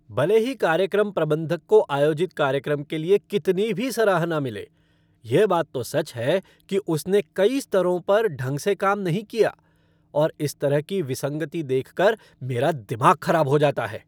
भले ही कार्यक्रम प्रबंधक को आयोजित कार्यक्रम के लिए कितनी भी सराहना मिले, यह बात तो सच है कि उसने कई स्तरों पर ढंग से काम नहीं किया और इस तरह की विसंगति देखकर मेरा दिमाग ख़राब हो जाता है।